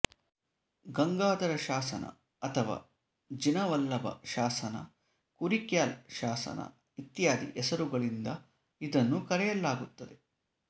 ಗಂಗಾಧರ ಶಾಸನ ಅಥವಾ ಜಿನವಲ್ಲಭ ಶಾಸನ ಕುರಿಕ್ಯಾಲ ಶಾಸನ ಇತ್ಯಾದಿ ಹೆಸರುಗಳಿಂದ ಇದನ್ನು ಕರೆಯಲಾಗುತ್ತದೆ